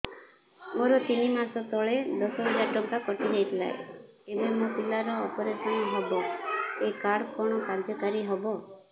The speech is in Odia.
ମୋର ତିନି ମାସ ତଳେ ଦଶ ହଜାର ଟଙ୍କା କଟି ଯାଇଥିଲା ଏବେ ମୋ ପିଲା ର ଅପେରସନ ହବ ଏ କାର୍ଡ କଣ କାର୍ଯ୍ୟ କାରି ହବ